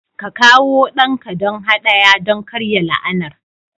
Ka kawo ɗanka don haɗaya don karya la'anar